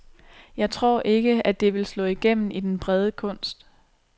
Jeg tror ikke, at det vil slå igennem i den brede kunst.